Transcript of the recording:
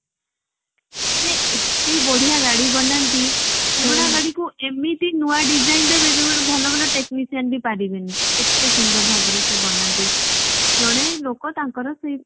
ସେ ଏତେ ବାଢିଆ ଗାଡି ବନାନ୍ତି ପୁରୁଣା ଗାଡିକୁ ଏମିତି ନୂଆ design ଦେବେ ଯୋଉ ଭଲ ଭଲ technician ବି ପରିବନି ଏତେ ସୁନ୍ଦର ଭାବରେ ସେ ବନାନ୍ତି। ଜଣେ ଲୋକ ତାଙ୍କର ସେଇ